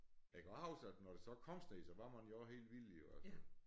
Jeg kan godt huske at når der så kom sne så var man jo også helt vild jo altså